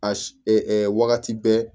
A wagati bɛɛ